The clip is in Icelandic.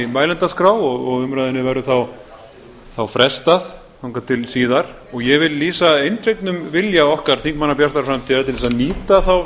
mælendaskrá og umræðunni verður þá frestað þangað til síðar ég vil lýsa eindregnum vilja okkar þingmanna bjartrar framtíðar til að nýta þá